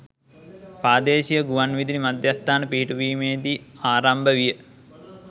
ප්‍රාදේශීය ගුවන්විදුලි මධ්‍යස්ථාන පිහිටුවීම දී ආරම්භ විය.